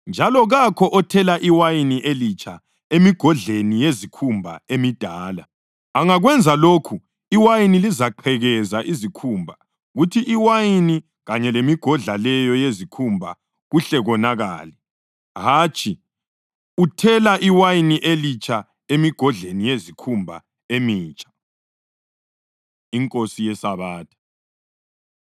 Njalo kakho othela iwayini elitsha emigodleni yezikhumba emidala. Angakwenza lokho iwayini lizaziqhekeza izikhumba kuthi iwayini kanye lemigodla leyo yezikhumba kuhle konakale. Hatshi, uthela iwayini elitsha emigodleni yezikhumba emitsha.” INkosi YeSabatha